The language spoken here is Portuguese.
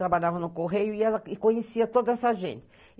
Trabalhava no Correio e ela conhecia toda essa gente.